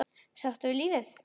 Sáttur við lífið.